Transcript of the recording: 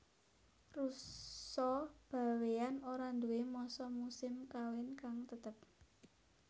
Rusa Bawéan ora nduwé masa musim kawin kang tetep